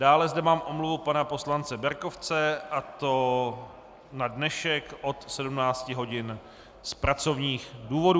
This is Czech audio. Dále zde mám omluvu pana poslance Berkovce, a to na dnešek od 17 hodin z pracovních důvodů.